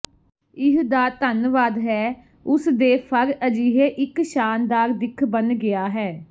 ਇਹ ਦਾ ਧੰਨਵਾਦ ਹੈ ਉਸ ਦੇ ਫਰ ਅਜਿਹੇ ਇੱਕ ਸ਼ਾਨਦਾਰ ਦਿੱਖ ਬਣ ਗਿਆ ਹੈ